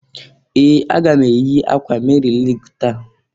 Ee! Aga m eyi akwa Meri Lig taa.